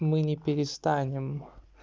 мы не перестанем